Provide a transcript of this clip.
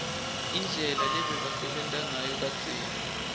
indlela lebebasebenta ngayo kadzeni